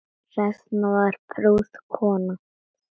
Hrefna var prúð kona.